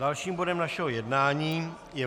Dalším bodem našeho jednání je